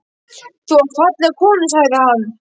Þú átt fallega konu sagði hann.